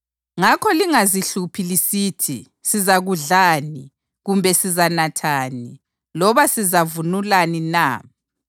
Ngakho lingazihluphi lisithi, ‘Sizakudlani?’ kumbe ‘Sizanathani?’ loba ‘Sizavunulani na?’